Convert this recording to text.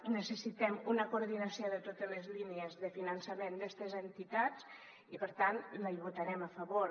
necessitem una coordinació de totes les línies de finançament d’estes entitats i per tant hi votarem a favor